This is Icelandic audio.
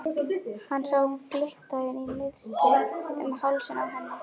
Hann sá glitta í nistið um hálsinn á henni.